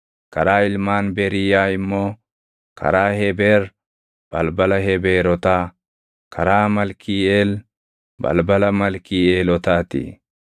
karaa ilmaan Beriiyaa immoo: karaa Hebeer, balbala Hebeerotaa; karaa Malkiiʼeel, balbala Malkiiʼeelotaa ti.